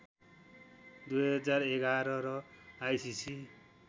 २०११ र आइसिसी